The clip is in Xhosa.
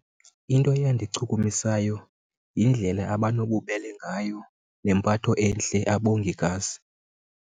Into eyandichukumisayo yindlela abanobubele ngayo nempatho entle abongikazi.